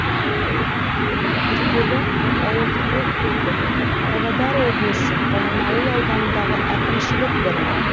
күркелі ауылдық округі павлодар облысы баянауыл ауданындағы әкімшілік бірлік